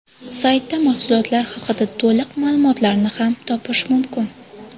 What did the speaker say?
Saytda mahsulotlar haqida to‘liq ma’lumotlarni ham topish mumkin.